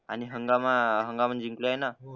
आणि हंगामा हंगामा जिंकलाय ना